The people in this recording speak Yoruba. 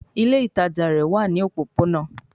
Ile itaja rẹ wa ní òpópónà